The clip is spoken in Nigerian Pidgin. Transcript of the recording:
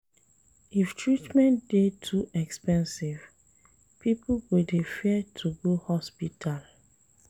If treatment dey too expensive, pipo go dey fear to go hospital